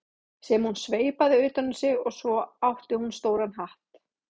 sem hún sveipaði utan um sig og svo átti hún stóran hatt.